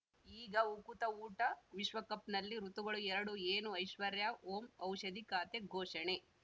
ಈಗ ಉಕುತ ಊಟ ವಿಶ್ವಕಪ್‌ನಲ್ಲಿ ಋತುಗಳು ಎರಡು ಏನು ಐಶ್ವರ್ಯಾ ಓಂ ಔಷಧಿ ಖಾತೆ ಘೋಷಣೆ